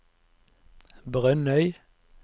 Brønnøy